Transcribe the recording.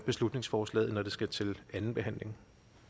beslutningsforslaget når det skal til anden behandling